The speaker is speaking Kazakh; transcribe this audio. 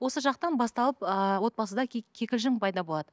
осы жақтан басталып ыыы отбасыда кикілжің пайда болады